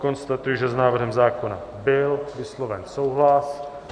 Konstatuji, že s návrhem zákona byl vysloven souhlas.